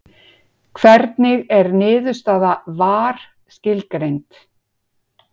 Hvernig er niðurstaða VAR skilgreind?